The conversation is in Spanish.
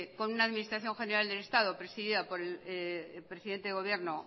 con una administración general del estado presidida por el presidente del gobierno